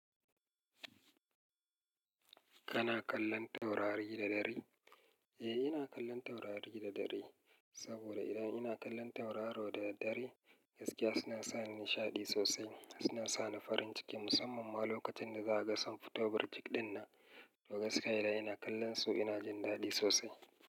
Kana kallon taurari da dare? Eh, ina kallon taurari da dare. Saboda idan ina kallon tauraro da dare, gaskiya suna sa ni nishaɗi sosai. Suna sa ni farin ciki, musamman ma lokacin da za a ga san futo birjig ɗin nan. To gaskiya idan ina kallonsu ina jin daɗi sosai.